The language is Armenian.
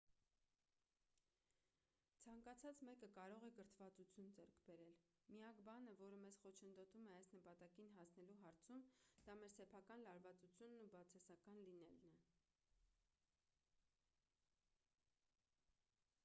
ցանկացած մեկը կարող է կրթվածություն ձեռք բերել միակ բանը որը մեզ խոչընդոտում է այս նպատակին հասնելու հարցում դա մեր սեփական լարվածությունն ու բացասական լինելն է